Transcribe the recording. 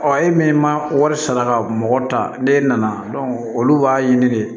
Ɔ e min ma wari sara ka mɔgɔ ta n'e nana olu b'a ɲini de